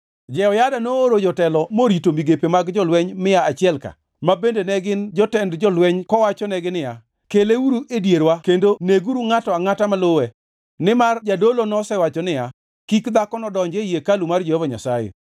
Jehoyada nooro jotelo morito migepe mag jolweny mia achiel-ka, ma bende ne gin jotend jolweny kowachonegi niya, “Keleuru e dierwa kendo neguru ngʼato angʼata maluwe.” Nimar jadolo nosewacho niya, “Kik dhakono donj ei hekalu mar Jehova Nyasaye.”